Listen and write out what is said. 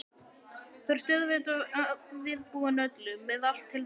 Þú ert auðvitað viðbúinn öllu. með allt til taks?